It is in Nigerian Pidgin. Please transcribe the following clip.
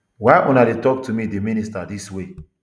why una dey tok to me di minister dis way